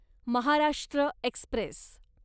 Maharashtra Express